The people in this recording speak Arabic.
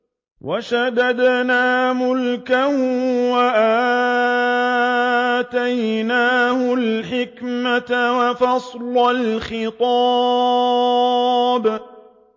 وَشَدَدْنَا مُلْكَهُ وَآتَيْنَاهُ الْحِكْمَةَ وَفَصْلَ الْخِطَابِ